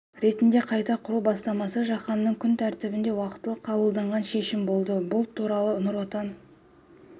ретінде қайта құру бастамасы жаһанның күн тәртібінде уақытылы қабылданған шешім болды бұл туралы нұр отан